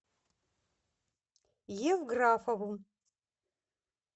евграфову